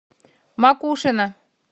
макушино